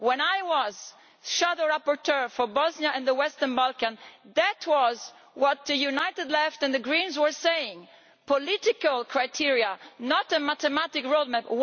When I was shadow rapporteur for Bosnia and the Western Balkans, that was what the United Left and the Greens were saying political criteria, not a mathematic roadmap.